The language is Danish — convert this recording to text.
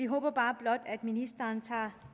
håber bare blot at ministeren tager